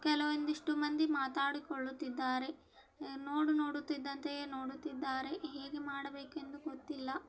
ಕೆಲವಂಧಿಷ್ಟು ಮಂದಿ ಮಾತಾಡಿಕೊಳ್ಳುತ್ತಿದ್ದಾರೆ ನೋಡು ನೋಡುತ್ತಿದ್ದಂತೆಯೇ ನೋಡುತ್ತಿದ್ದರೆ ಹೇಗೆ ಮಾಡಬೇಕೆಂದು ಗೊತ್ತಿಲ್ಲ.